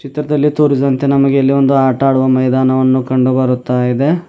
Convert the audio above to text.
ಚಿತ್ರದಲ್ಲಿ ತೋರಿಸಿದಂತೆ ನಮಗೆ ಇಲ್ಲಿ ಒಂದು ಆಟ ಆಡುವ ಮೈದಾನವನ್ನು ಕಂಡು ಬರುತ್ತಾ ಇದೆ.